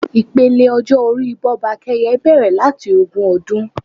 Ipele ọjọ́ orí Bọ́bakẹ́yẹ bẹrẹ̀ láti ogún ọdún.